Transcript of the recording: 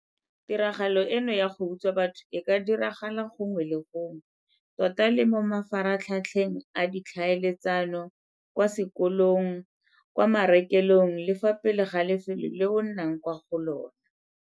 Tiro eno ya go utswa batho e ka diragala gongwe le gongwe - tota le mo mafaratlhatlheng a ditlhaeletsano, kwa sekolong, kwa marekelong le fa pele ga lefelo leo o nnang kwa go lona.